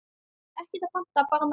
Ekkert að panta, bara mæta!